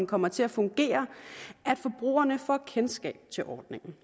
kommer til at fungere at forbrugerne får kendskab til ordningen